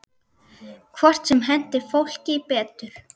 Hvort sem henti fólki betur.